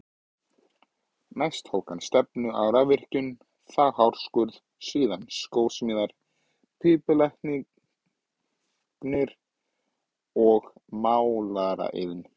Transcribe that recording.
Næst tók hann stefnu á rafvirkjun, þá hárskurð, síðan skósmíðar, pípulagnir og málaraiðn.